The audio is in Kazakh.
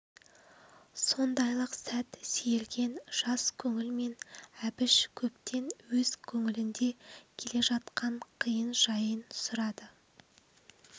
сондайлық сәт сейілген жас көңілмен әбіш көптен өз көңілінде келе жатқан қиын жайын сұрады